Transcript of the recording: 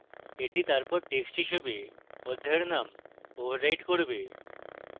এটি তারপর text হিসাবে অধ্যায়ের name override করবে